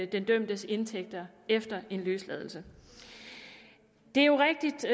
den dømtes indtægter efter en løsladelse det er jo rigtigt